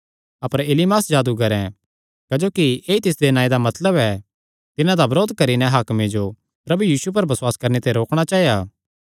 अपर इलीमास जादूगरें क्जोकि ऐई तिसदे नांऐ दा मतलब ऐ तिन्हां दा बरोध करी नैं हाकमे जो प्रभु यीशु पर बसुआस करणे ते रोकणा चाया